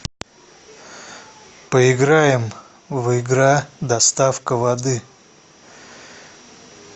поиграем в игра доставка воды